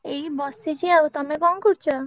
ଏଇ ବସିଛି ଆଉ ତମେ କଣ କରୁଛ?